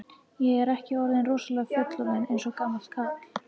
Er ég ekki orðinn rosalega fullorðinn, eins og gamall kall?